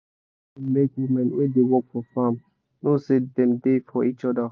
song da make women wey da work for farm know say dem da for each oda